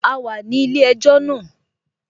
A wà ní ilé-ẹjọ́ náà